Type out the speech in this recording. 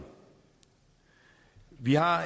vi har